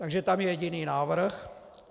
Takže tam je jediný návrh.